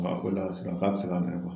Wa a ko ala sisan k'a be se k'a minɛ kuwa